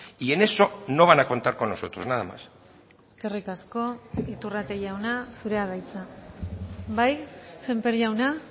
y en eso no van a contar con nosotros nada más eskerrik asko iturrate jauna zurea da hitza bai sémper jauna